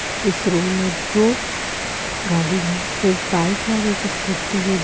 इस रूम मे दो गाडी हे एक बाईक हे और एक स्कूटी हे दो --